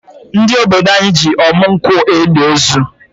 Ndi ododo anyị ji ọmụ nkwụ eli ozu